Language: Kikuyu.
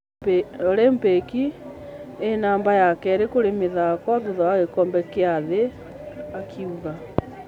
Olympics ecnamba ya kere kũri mĩthaka thutha wa gĩkobe gia thĩ,"akiuga